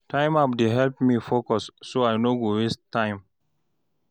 Timer app dey help me focus, so I no go waste time.